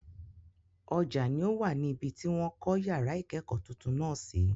Ọjà ni o wà ní ibi tí wọ́n kọ́ yàrá ìkẹ́kọ̀ọ́ tuntun náà sí.